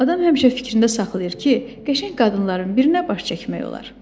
Adam həmişə fikrində saxlayır ki, qəşəng qadınların birinə baş çəkmək olar.